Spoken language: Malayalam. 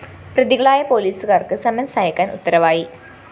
പ്രതികളായ പോലീസുകാര്‍ക്ക് സമൻസ്‌ അയക്കാന്‍ ഉത്തരവായി